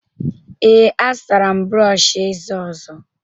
Ee, azụtara m brọọshị eze ọzọ